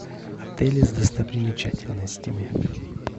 отели с достопримечательностями